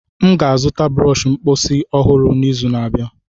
M ga-azụta brọsh mposi ọhụrụ n'izu na-abịa.